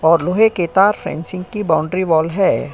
और लोहे के तार की फेंसिंग वाल है।